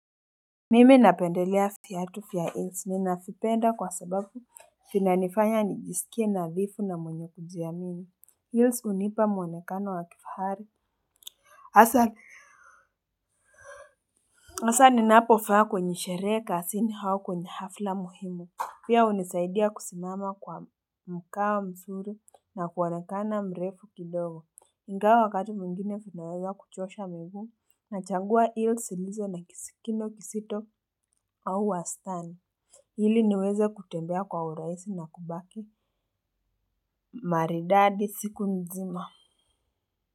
Mimi napendelea viatu vya heels. Ninavipenda kwa sababu vinanifanya nijisikie nadhifu na mwenye kujiamini. Heels hunipa mwonekano wa kifahari hasa hasa ninapovaa kwenye sherehe kazini au kwenye hafla muhimu. Pia hunisaidia kusimama kwa mkao mzuri na kuonekana mrefu kidogo. Ingawa wakati mwingine vinaweza kuchosha miguu hasa ninapovaa kwenye sherehe, kazini au kwenye hafla muhimu. Pia hunisaidia kusimama kwa mkao mzuri na kuonekana mrefu kidogo. Ili niweze kutembea kwa urahisi na kubaki maridadi siku nzima.